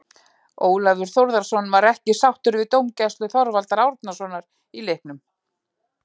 Ólafur Þórðarson var ekki sáttur við dómgæslu Þorvaldar Árnasonar í leiknum.